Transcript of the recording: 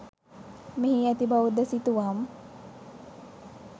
මෙහි ඇති බෞද්ධ සිතුවම්